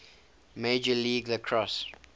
major league lacrosse